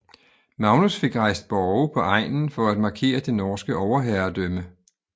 Magnus fik rejst borge på egnen for at markere det norske overherredømme